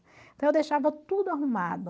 Então eu deixava tudo arrumado.